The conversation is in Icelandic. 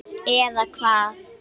Eða hvað?